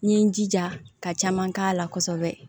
N ye n jija ka caman k'a la kosɛbɛ